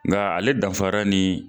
Nga ale danfara ni